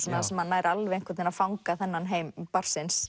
þar sem hann nær alveg að fanga þennan heim barnsins